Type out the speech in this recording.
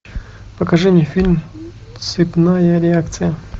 покажи мне фильм цепная реакция